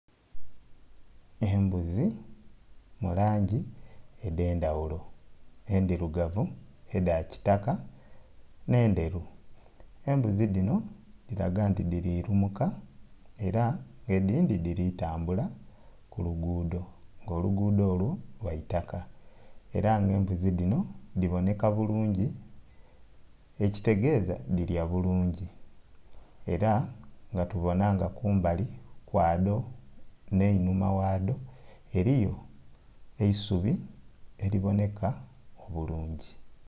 Embuzi mu langi edh'endhaghulo, endhirugavu, edha kitaka nh'endheru, embuzi dhino dhilaga nti dhiri lumuka era nga edindhi dhiri tambula ku luguudo, nga oluguudo olwo lwa itaka era nga embuzi dhino dhibonheka bulungi ekitegeza dhirya bulungi. Era nga tubona nga kumbali kwadho nh'einhuma ghadho eriyo eisubi eli bonheka obulungi.